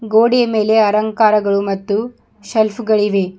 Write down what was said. ಗೋಡೆಯ ಮೇಲೆ ಅಲಂಕಾರಗಳು ಮತ್ತು ಸೆಲ್ಫ್ ಗಳಿವೆ.